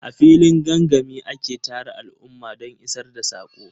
A filin gangami ake tara al'umma don isar da saƙo.